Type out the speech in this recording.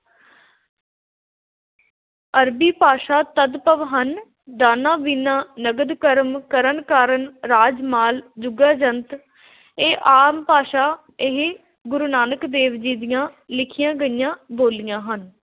ਅਰਬੀ ਭਾਸ਼ਾ ਤਦਭਵ ਹਨ । ਦਾਨਾ – ਬੀਨਾ, ਨਦਰ – ਕਰਮ, ਕਰਨ – ਕਾਰਨ, ਰਾਜ – ਮਾਲ, ਜੁਗਾ – ਜੁਗੰਤਰ, ਇਹ ਆਮ ਭਾਸ਼ਾ ਇਹ ਗੁਰੂ ਨਾਨਕ ਦੇਵ ਜੀ ਦੀਆਂ ਲਿਖੀਆਂ ਗਈਆਂ ਬੋਲੀਆਂ ਹਨ।